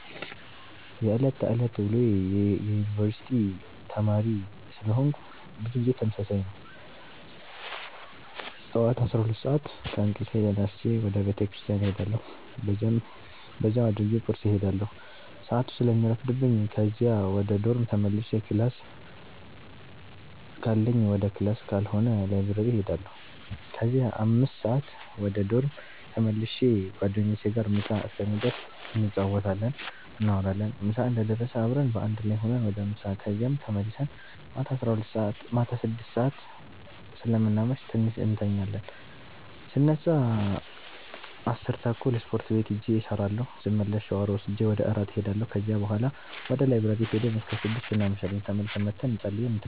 የዕለት ተዕለት ውሎዬ የዩነኒቨርስቲ ተማሪ ስለሆነኩ ብዙ ጊዜ ተመሳሳይ ነው። ጠዋት 12:00 ሰአት ከእንቅልፌ ተነስቼ ወደ ቤተክርስቲያን እሄዳለሁ በዚያው አድርጌ ቁርስ እሄዳለሁ ሰአቱ ስለሚረፍድብኝ ከዚያ ወደ ዶርም ተመልሼ ክላስ ካለኝ ወደ ክላስ ካልሆነ ላይብረሪ እሄዳለሁ ከዚያ 5:00 ወደ ዶርም ተመልሼ ጓደኞቼ ጋር ምሳ እስከሚደርስ እንጫወታለን፣ እናወራለን ምሳ እንደደረሰ አብረን በአንድ ላይ ሁነን ወደ ምሳ ከዚያም ተመልሰን ማታ አስከ 6:00 ሰአት ስለምናመሽ ትንሽ እንተኛለን ስነሳ 10:30 ስፖርት ቤት ሂጄ እሰራለሁ ስመለስ ሻወር ወስጄ ወደ እራት እሄዳለሁ ከዚያ ቡሀላ ወደ ላይብረሪ ሂደን እስከ 6:00 እናመሻለን ተመልሰን መተን ፀልየን እንተኛለን።